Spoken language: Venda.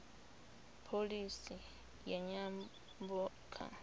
pholisi ya nyambo kha